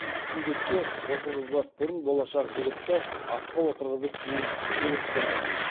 сүндетке отырғызбас бұрын болашақ жігітті атқа отырғызып кейін сыйлық берген